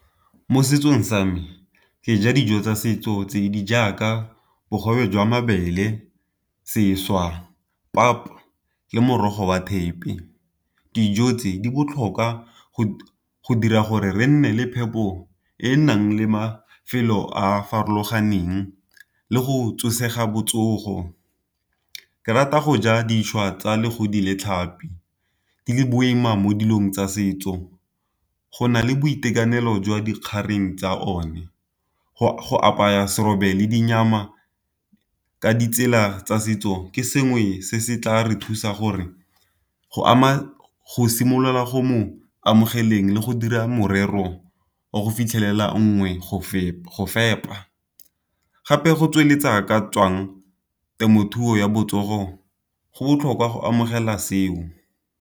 Mo setsong sa me ke ja dijo tsa setso tse di jaaka bogobe jwa mabele, seswa, pap, le morogo wa thepe. Dijo tse di botlhokwa go go dira gore re nne le phepo e e nang le mafelo a a farologaneng le go tsosa aga botsogo. Ke rata go ja tsa legodi le tlhapi di le boima mo dilong tsa setso, go na le boitekanelo jwa dikgaring tsa one. Go apaya serobe le ka ditsela tsa setso, ke sengwe se se tla re thusa gore go ama go simolola go mo amogeleng le go dira morero o go fitlhelela nngwe go fepa. Gape go tsweletsa ka tswang temothuo ya botsogo go botlhokwa go amogela seo.